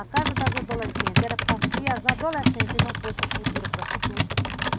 A casa das adolescentes era para criar as adolescentes e não fosse as futuras prostitutas.